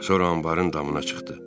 Sonra anbarın damına çıxdı.